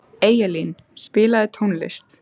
Eyjalín, spilaðu tónlist.